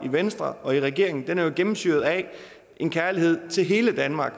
i venstre og i regeringen er jo gennemsyret af en kærlighed til hele danmark